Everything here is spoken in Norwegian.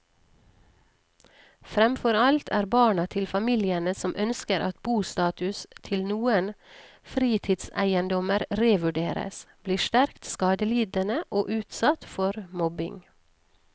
Fremfor alt er barna til familiene som ønsker at bostatus til noen fritidseiendommer revurderes, blitt sterkt skadelidende og utsatt for mobbing.